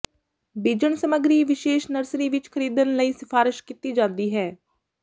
ਬੀਜਣ ਸਮੱਗਰੀ ਵਿਸ਼ੇਸ਼ ਨਰਸਰੀ ਵਿੱਚ ਖਰੀਦਣ ਲਈ ਸਿਫਾਰਸ਼ ਕੀਤੀ ਜਾਦੀ ਹੈ